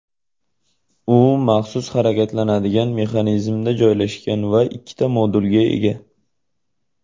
U maxsus harakatlanadigan mexanizmda joylashgan va ikkita modulga ega.